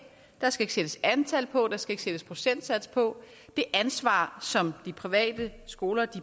der skal ikke sættes antal på der skal ikke sættes procentsats på det ansvar som de private skoler